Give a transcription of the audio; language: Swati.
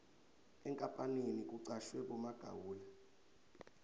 enkapaneni kucashwe bomagawula